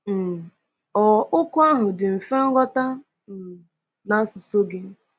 um Ọ̀ okwu ahụ dị mfe nghọta um n’asụsụ gị?